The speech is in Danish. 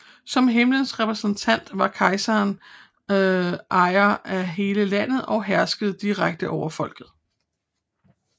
Som himlens repræsentant var kejseren ejer af hele landet og herskede direkte over folket